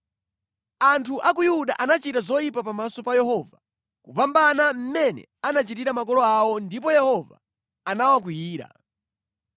Anthu a ku Yuda anachita zoyipa pamaso pa Yehova kupambana mmene anachitira makolo awo ndipo Yehova anawakwiyira.